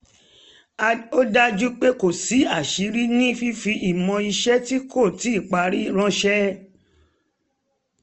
ó dájú pé kò sí aṣíiri ní fífi ìmọ̀ iṣẹ́ tí kò tíì parí ránṣẹ́